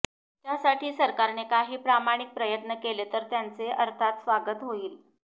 त्यासाठी सरकारने काही प्रामाणिक प्रयत्न केले तर त्याचे अर्थात स्वागतच होईल